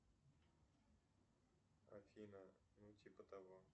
афина ну типа того